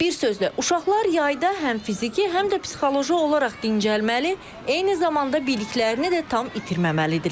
Bir sözlə, uşaqlar yayda həm fiziki, həm də psixoloji olaraq dincəlməli, eyni zamanda biliklərini də tam itirməməlidirlər.